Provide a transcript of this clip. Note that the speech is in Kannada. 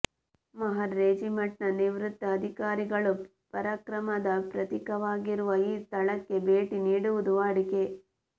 ಮಹರ್ ರೆಜಿಮೆಂಟ್ನ ನಿವೃತ್ತ ಅಧಿಕಾರಿಗಳು ಪರಾಕ್ರಮದ ಪ್ರತೀಕವಾಗಿರುವ ಈ ಸ್ಥಳಕ್ಕೆ ಭೇಟಿ ನೀಡುವುದು ವಾಡಿಕೆ